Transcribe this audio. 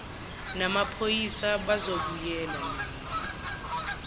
namaphoyisa bazobuyela nombi